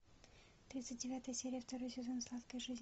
тридцать девятая серия второй сезон сладкая жизнь